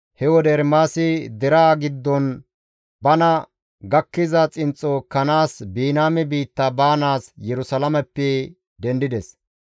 He wode Ermaasi deraa giddon bana gakkiza xinxxo ekkanaas Biniyaame biitta baanaas Yerusalaameppe dendides.